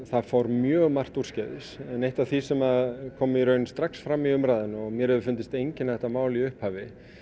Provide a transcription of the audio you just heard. það fór mjög margt úrskeiðis en eitt af því sem kom strax fram í umræðunni og mér hefur fundist einkenna þetta mál í upphafi